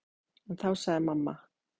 En þá sagði mamma